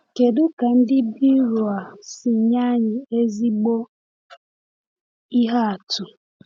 Kedu ka Ndị Beroea si nye anyị ezigbo ihe atụ?